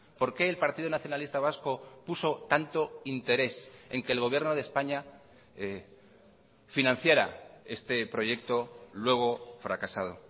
por qué el partido nacionalista vasco puso tanto interés en que el gobierno de españa financiara este proyecto luego fracasado